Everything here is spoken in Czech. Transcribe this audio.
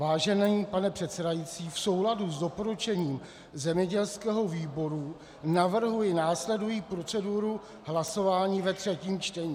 Vážený pane předsedající, v souladu s doporučením zemědělského výboru navrhuji následující proceduru hlasování ve třetím čtení.